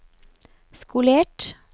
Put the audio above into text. skolert